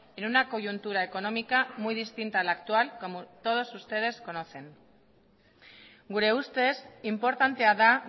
en una coyuntura económica muy distinta a la actual como todos ustedes conocen gure ustez inportantea da